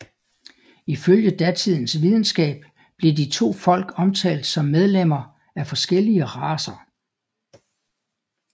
Ifølge datidens videnskab blev de to folk omtalt som medlemmer af forskellige racer